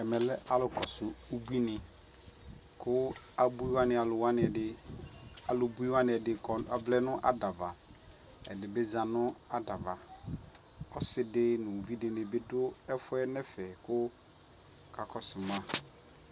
ɛmɛ lɛ alʋ kɔsʋ ʋbʋi ni kʋ abʋi wani alʋ wani ɛdi, alʋ bʋi wani ɛdi avlɛ nʋ adaava, ɛdibi bi zanʋ adaava, ɔsii di nʋ ʋvi di dini bi dʋ ɛƒʋɛ nɛ ɛƒɛ kʋ ɔkakɔsʋ ma